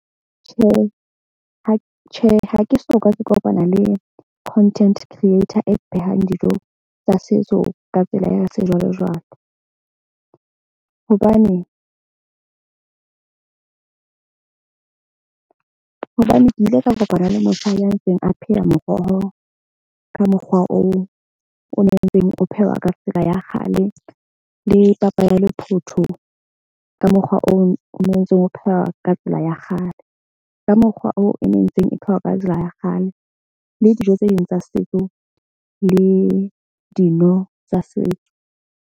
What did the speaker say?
Tjhe, ha tjhe ha ke soka ke kopana le content creator e phehang dijo tsa setso ka tsela ya sejwalejwale. Hobane hobane ke ile ka kopana le motjha ya ntseng a pheha moroho ka mokgwa oo o ntseng o phehwa ka tsela ya kgale. Le papa ya lephoto ka mokgwa oo o nontse o pheha ka tsela ya kgale. Ka mokgwa oo, e ne e ntseng e phehwa ka tsela ya kgale le dijo tse ding tsa setso le dino tsa setso.